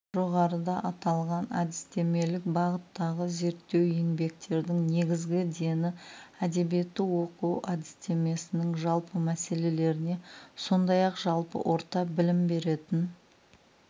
жоғарыда аталған әдістемелік бағыттағы зерттеу еңбектердің негізгі дені әдебиетті оқыту әдістемесінің жалпы мәселелеріне сондай-ақ жалпы орта білім беретін